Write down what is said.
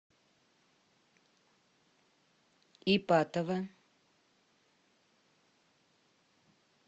ипатово